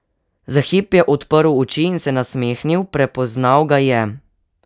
Za hip je odprl oči in se nasmehnil, prepoznal ga je.